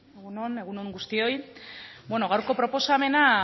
egun on egun on guztioi gaurko proposamena